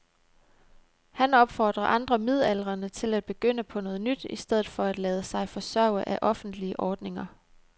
Han opfordrer andre midaldrende til at begynde på noget nyt i stedet for at lade sig forsørge af offentlige ordninger.